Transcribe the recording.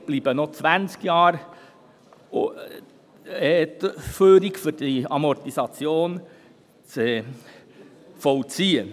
Somit bleiben noch 20 Jahre übrig, um die Amortisation zu vollziehen.